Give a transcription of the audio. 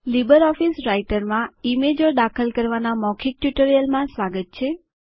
LibreOffice રાઈટરમાં ઈમેજો દાખલ કરવાના મૌખિક ટ્યુટોરીયલમાં સ્વાગત છે